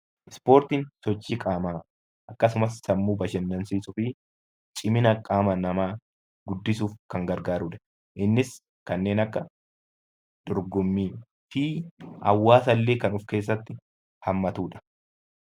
Ispoortiin sochii qaamaa akkasumas sammuu bashannansiisuu fi cimina qaama namaa guddisuuf kan gargaarudha. Innis kanneen akka dorgommii fi hawaasa illee kan of keessatti hammatudha.